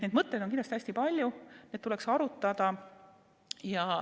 Neid mõtteid on kindlasti hästi palju, neid tuleks arutada.